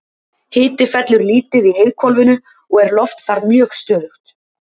Hiti fellur lítið í heiðhvolfinu og er loft þar mjög stöðugt.